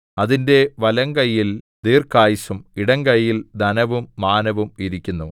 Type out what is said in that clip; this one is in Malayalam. അതിന്റെ വലങ്കയ്യിൽ ദീർഘായുസ്സും ഇടങ്കയ്യിൽ ധനവും മാനവും ഇരിക്കുന്നു